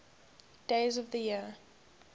days of the year